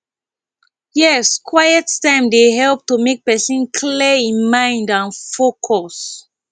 yes quiet time dey help to make pesin clear im mind and focus